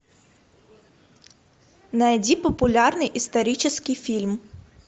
найди популярный исторический фильм